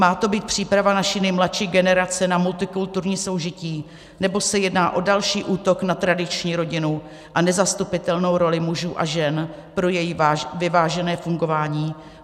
Má to být příprava naší nejmladší generace na multikulturní soužití, nebo se jedná o další útok na tradiční rodinu a nezastupitelnou roli mužů a žen pro její vyvážené fungování?